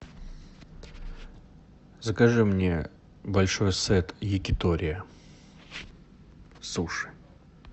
закажи мне большой сет якитория суши